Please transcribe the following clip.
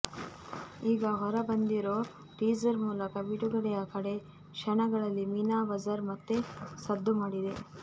ಈಗ ಹೊರ ಬಂದಿರೋ ಟೀಸರ್ ಮೂಲಕ ಬಿಡುಗಡೆಯ ಕಡೇ ಕ್ಷಣಗಳಲ್ಲಿ ಮೀನಾ ಬಜಾರ್ ಮತ್ತೆ ಸದ್ದು ಮಾಡಿದೆ